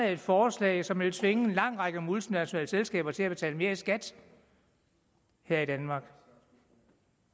et forslag som ville tvinge en lang række multinationale selskaber til at betale mere i skat her i danmark